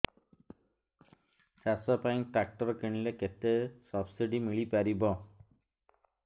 ଚାଷ ପାଇଁ ଟ୍ରାକ୍ଟର କିଣିଲେ କେତେ ସବ୍ସିଡି ମିଳିପାରିବ